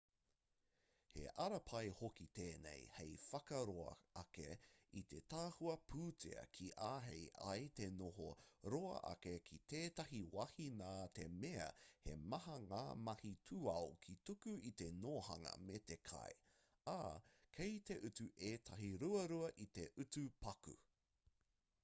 he ara pai hoki tēnei hei whakaroa ake i te tahua pūtea kia āhei ai te noho roa ake ki tētahi wāhi nā te mea he maha ngā mahi tūao ka tuku i te nōhanga me te kai ā kei te utu ētahi ruarua i te utu paku